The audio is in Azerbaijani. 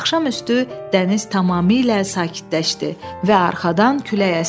Axşamüstü dəniz tamamilə sakitləşdi və arxadan külək əsdi.